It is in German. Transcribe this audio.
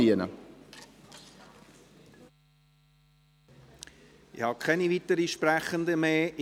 Ich habe keine weiteren Sprechenden mehr.